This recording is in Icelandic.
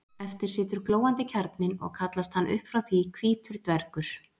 Eftir situr glóandi kjarninn og kallast hann upp frá því hvítur dvergur.